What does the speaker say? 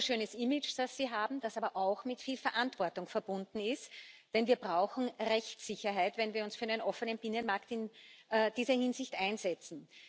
Das ist ein wunderschönes Image, das Sie haben, das aber auch mit viel Verantwortung verbunden ist. Denn wir brauchen Rechtssicherheit, wenn wir uns für einen offenen Binnenmarkt in dieser Hinsicht einsetzen.